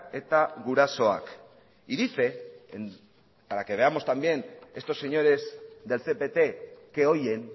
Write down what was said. eta gurasoak y dice para que veamos también estos señores del cpt qué oyen